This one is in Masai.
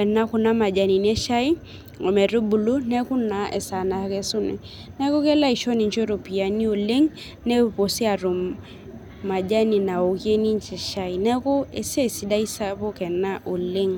ena kuna majanini eshai ometubulu neku naa esaa nakesuni neku kelo aisho ninche iropiyiani oleng nepuo sii atum majani naokie ninche shai neku esiai sidai ena sapuk oleng.